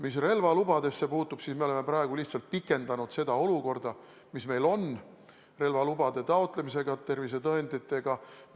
Mis relvalubadesse puutub, siis me oleme praegu lihtsalt pikendanud seda olukorda, mis puudutab relvalubade taotlemist ja tervisetõendeid.